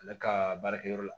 Ale ka baarakɛyɔrɔ la